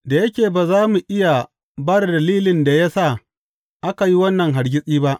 Da yake ba za mu iya ba da dalilin da ya sa aka yi wannan hargitsi ba.